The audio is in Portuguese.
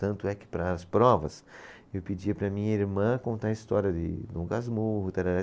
Tanto é que para as provas, eu pedia para minha irmã contar a história de Dom Casmurro, tarara